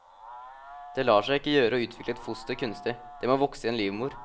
Det lar seg ikke gjøre å utvikle et foster kunstig, det må vokse i en livmor.